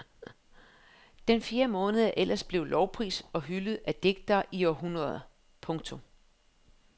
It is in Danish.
Den fjerde måned er ellers blevet lovprist og hyldet af digtere i århundreder. punktum